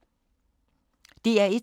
DR1